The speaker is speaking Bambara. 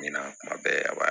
Ɲina kuma bɛɛ a b'a